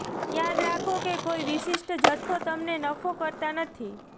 યાદ રાખો કે કોઈ વિશિષ્ટ જથ્થો તમને નફો કરતા નથી